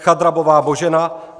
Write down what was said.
Chadrabová Božena